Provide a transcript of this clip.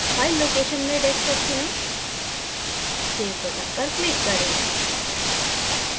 file location में desktop चुनें save button पर click करें